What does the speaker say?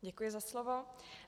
Děkuji za slovo.